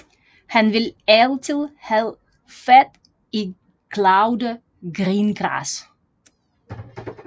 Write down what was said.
Han vil altid have fat i Claude Greengrass